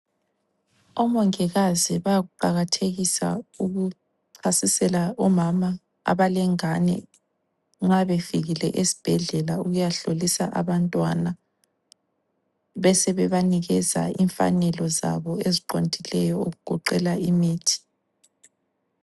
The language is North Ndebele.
Omongikazi bayakuqakathekisa ukuchasisela omama abalengane nxa befikile esibhedlela ukuyahlolisa abantwana besebebanikeza imfanelo zabo eziqondileyo okugoqela imithi.